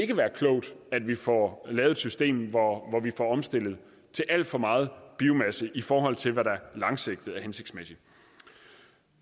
vil være klogt at vi får lavet et system hvor hvor vi får omstillet til alt for meget biomasse i forhold til hvad der langt sigt er hensigtsmæssigt